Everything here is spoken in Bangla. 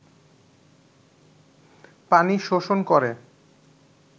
পানি শোষণ করে